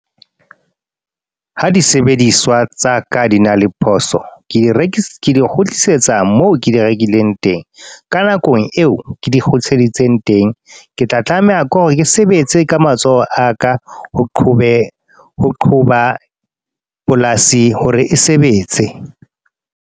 Ha di sebediswa tsa ka di na le phoso. Ke di kgutlisetsa moo ke di rekileng teng. Ka nako eo ke di kgutliseditseng teng. Ke tla tlameha ke hore ke sebetse ka matsoho a ka, ho qhobe ho qoba polasi hore e sebetse.